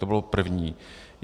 To bylo první.